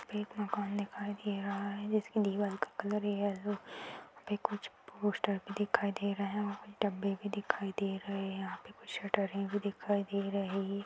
एक मकान दिखाई दे रहा है जिसकी दीवाल का कलर येलो है यहाँ पे कुछ पोस्टर भी दिखाई दे रहें हैं कुछ डब्बे भी दिखाई दे रहे हैं | यहाँ पे कुछ भी दिखाई दे रही --